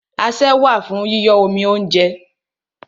Asẹ́ wà fún yíyọ́ omi óúnjẹ.